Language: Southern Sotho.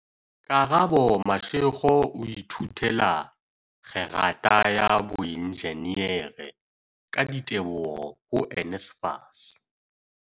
Karabo Mashego o ithutela kgerata ya boenjinere, ka diteboho ho NSFAS.